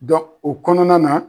o kɔnɔna na.